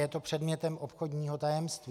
Je to předmětem obchodního tajemství.